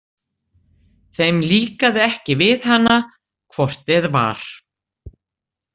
Þeim líkaði ekki við hana hvort eð var.